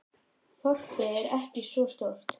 Þorpið er ekki svo stórt.